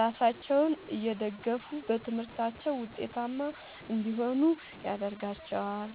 ራሳቸውን እየደገፉ በትምህርታቸው ውጤታማ እንዲሆኑ ያደርጋቸዋል።